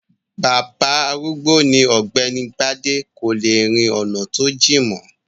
Bàbá arúgbó ni ọ̀gbẹ́ni bádé, kò le rin ọ̀nà tó jìn mọ́.